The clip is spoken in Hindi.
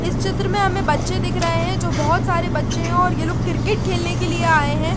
इस चित्र मे हमे बच्चे दिख रहे है जो बहोत सारे बच्चे है और ये लोग क्रिकेट खेलने के लिए आए है ।